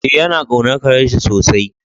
Eh, ya na kaunan karen shi sosai.